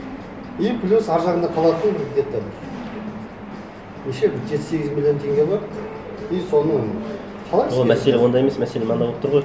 и плюс ар жағында қалатын где то неше жеті сегіз миллион теңге бар и соны ол мәселе онда емес мәселе мынада болып тұр ғой